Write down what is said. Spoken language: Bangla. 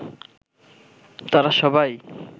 তারা সবাই